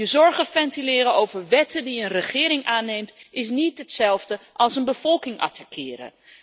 Je zorgen ventileren over wetten die een regering aanneemt, is niet hetzelfde als een bevolking attaqueren.